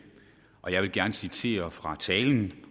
og jeg vil gerne citere fra talen